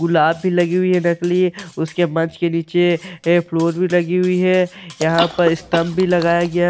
गुलाब भी लगी हुई है नकली और उसके मंच के नीचे फ्लोर बी लगी हुई है यहाँ पे स्टम्प भी लगाया गया है--